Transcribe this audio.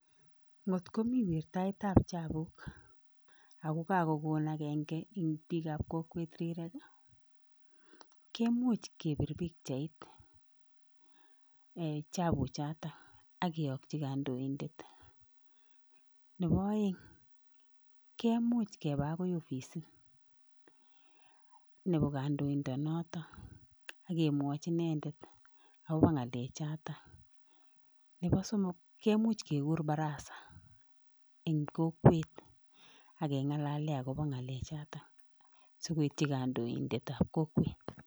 Ngotkomii wirtaet ab chapuuk ago kagokon agenge eng' piik ab kokwet rirek kemuch kepir pikchait chapuuk chotok ageyokchi kandoindet, nepo aeng' kemuch kepa akoy ofisit nepo kandoindet notok akemwach inendet akopa ng'alek chotok, nepo somok kemuch kegur barasa eng' kokwet ake ng'alale akopa ng'alek chotok sikoitchi kandoindet ab kokwet.